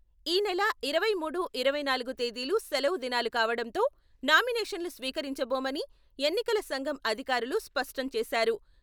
ఈ నెలఇరవై మూడు, ఇరవై నాలుగు తేదీలు సెలవు దినాలు కావడంతో నామినేషన్లు స్వీకరించబోమని ఎన్నికల సంఘం అధికారులు స్పష్టంచేశారు.